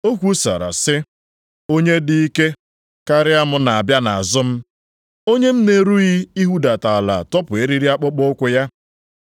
O kwusara sị: “Onye dị ike karịa m na-abịa nʼazụ m. Onye m na-erughị ihudata ala tọpụ eriri akpụkpọụkwụ ya.